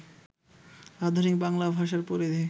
আধুনিক বাংলা ভাষার পরিধি